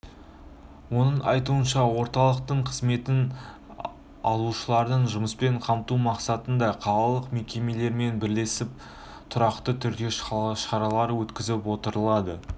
оның айтуынша орталықтың қызметін алушыларын жұмыспен қамту мақсатында қалалық мекемелермен бірлесіп тұрақты түрде шаралар өткізіп отырады